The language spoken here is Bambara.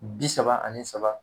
Bi saba ani saba.